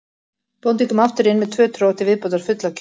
Bóndinn kom aftur inn með tvö trog til viðbótar full af kjöti.